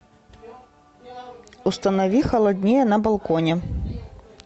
установи холоднее на балконе